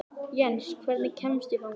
Jens, hvernig kemst ég þangað?